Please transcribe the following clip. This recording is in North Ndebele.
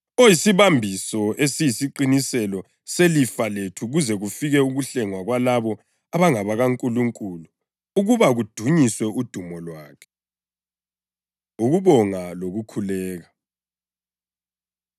oyisibambiso esiyisiqiniselo selifa lethu kuze kufike ukuhlengwa kwalabo abangabakaNkulunkulu ukuba kudunyiswe udumo lwakhe. Ukubonga Lokukhuleka